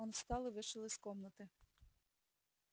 он встал и вышел из комнаты